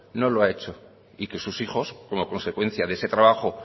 no lo ha hecho y que sus hijos como consecuencia de ese trabajo